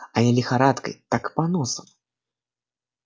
а не лихорадкой так поносом